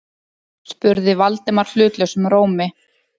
spurði Valdimar hlutlausum rómi.